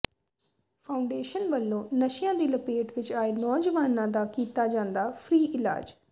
foundation ਵੱਲੋਂ ਨਸ਼ਿਆਂ ਦੀ ਲਪੇਟ ਵਿੱਚ ਆਏ ਨੌਜਵਾਨਾਂ ਦਾ ਕੀਤਾ ਜਾਂਦਾ ਫਰੀ ਇਲਾਜ